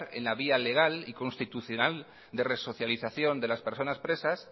en la vía legal y constitucional de resocialización de las personas presas